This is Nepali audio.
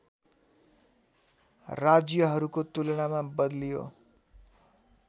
राज्यहरूको तुलनामा बलियो